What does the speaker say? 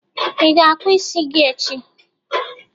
Ị ga-akpụ isi gi echi?